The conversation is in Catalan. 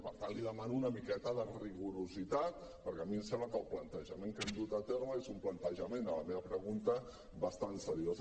per tant li demano una miqueta de rigorositat perquè a mi em sembla que el plantejament que hem dut a terme és un plantejament a la meva pregunta bastant seriós